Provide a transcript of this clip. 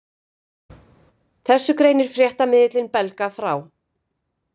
Þessu greinir fréttamiðillinn Belga frá